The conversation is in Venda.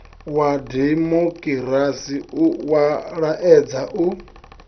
wa dimokirasi wa laedza u